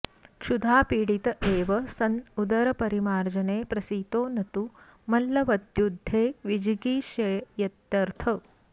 क्षुधा पीडित एव सन् उदरपरिमार्जने प्रसितो नतु मल्लवद्युद्धे विजिगीषयेत्यर्थः